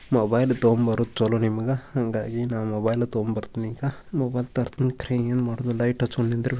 mobile ತಗೋಬರೋದು ಚಲೋ ನಿಮಗ ಹಾಂಗಾಗಿ ನಾ ಮೊಬೈಲ್ ತಗೋ ಬರ್ತೀನಿ ಈಗ